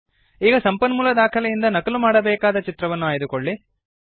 ಈಗ ಸಂಪನ್ಮೂಲ ದಾಖಲೆಯಿಂದ ನಕಲು ಮಾಡಬೇಕಾದ ಚಿತ್ರವನ್ನು ಆಯ್ದುಕೊಳ್ಳಿ